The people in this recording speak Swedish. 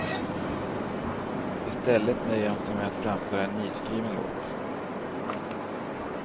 I stället nöjer de sig med att framföra en nyskriven låt.